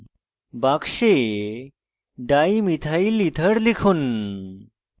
box dimethylether লিখুন